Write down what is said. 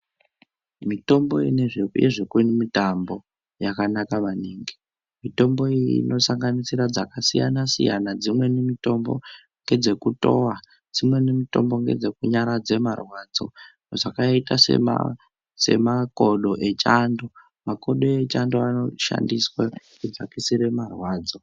Mitombo yezvekumitambo yakanaka maningi. Mitombo iyi inosanganisira dzakasiyana-siyana dzimweni mitombo ngedzekutowa, dzimweni mitombo ngedzekunyaradze marwadzo zvakaita semakodo echando. Makodo echando anoshandiswa kudzakisire marwadzo.